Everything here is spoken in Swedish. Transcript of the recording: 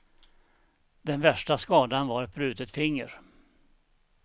Den värsta skadan var ett brutet finger.